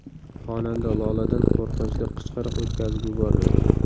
Xonanda Loladan qo‘rqinchli qichqiriq o‘tkazib yubormang!